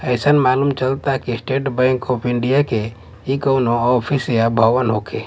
अइसन मालूम चालत बा कि स्टेट बैंक ऑफ इंडिया केए कउनो ऑफिस या भवन होखे।